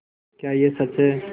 क्या यह सच है